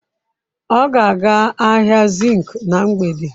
Ọ ga-aga ahịa zinc na mgbede.